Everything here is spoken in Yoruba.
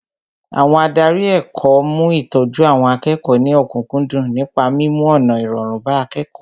Ádárì ètò ẹ̀kọ́ mú ìtọ́jú àwọn akẹ́kọ̀ọ́ ní òkúkúndùn nípa mímú ọ̀nà irọrun bá akẹ́kọ̀ọ́